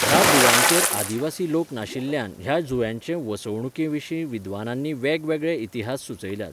ह्या जुंव्यांचेर आदिवासी लोक नाशिल्ल्यान ह्या जुंव्यांचे वसणुकेविशीं विद्वानांनी वेगवेगळे इतिहास सुचयल्यात.